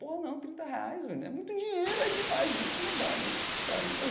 Pô, não, trinta reais, velho, é muito dinheiro, é demais isso, não dá, não, para mim.